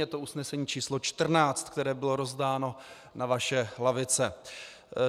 Je to usnesení číslo 14, které bylo rozdáno na vaše lavice.